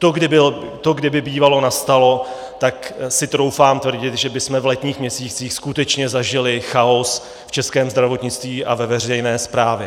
To kdyby bývalo nastalo, tak si troufám tvrdit, že bychom v letních měsících skutečně zažili chaos v českém zdravotnictví a ve veřejné správě.